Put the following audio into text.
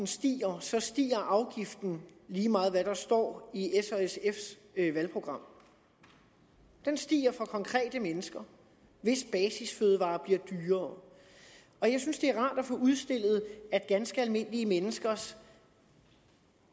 stiger stiger afgiften lige meget hvad der står i s og sfs valgprogram den stiger for konkrete mennesker hvis basisfødevarer bliver dyrere og jeg synes det er rart at få udstillet at ganske almindelige menneskers